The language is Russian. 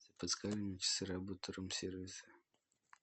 подскажи мне часы работы рум сервиса